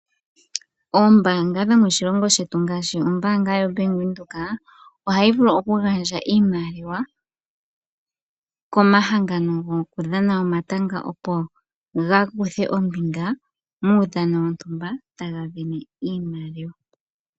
Oombaanga dhomoshilongo shetu ngaashi ombaanga yoBank Windhoek ohayi vulu okugandja iimaliwa komahangano go ku dhana omatanga opo gakuthe ombinga muudhano wontumba taga vene iimaliwa.